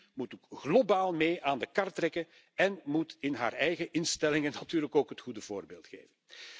De EU moet ook globaal mee aan de kar trekken én moet in haar eigen instellingen natuurlijk ook het goede voorbeeld geven.